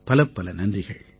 பலப்பல நன்றிகள்